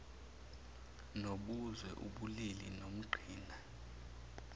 nobuzwe ubulili nomqhina